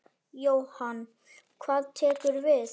Jóhann: Hvað tekur við?